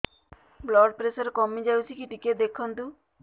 blood pressure କମି ଯାଉଛି କି ଟିକେ ଦେଖନ୍ତୁ